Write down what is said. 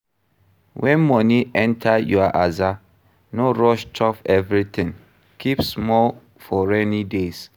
When money enter your aza, no rush chop everything, keep small for rainy days